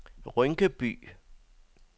Rynkeby